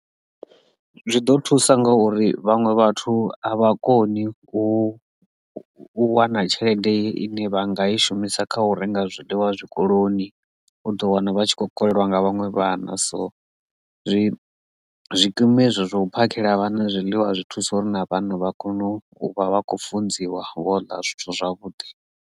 Zwi ḓo thusa ngauri vhaṅwe vhathu a vha koni u wana tshelede ine vha nga i shumisa kha u renga zwiḽiwa zwikoloni u ḓo wana vhana vha tshi kho kolelwa nga vhaṅwe vhana so zwi zwikimu hezwo zwo phakhela vhana zwiḽiwa zwi thusa uri na vhana vha kone u vha vha khou funziwa vho ḽa zwithu zwavhuḓi.